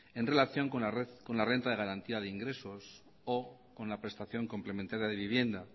en relación con la renta de garantía de ingresos o con la prestación complementaria de vivienda